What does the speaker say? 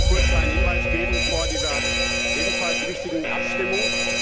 Ich möchte nur kurz einen Hinweis geben vor dieser ebenfalls wichtigen Abstimmung.